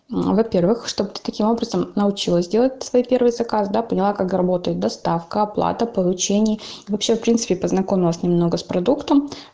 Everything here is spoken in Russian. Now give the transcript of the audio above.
во-первых чтобы ты таким образом научилась делать свой первый заказ да поняла как работает доставка оплата получение и вообще в принципе познакомилась немного с продуктом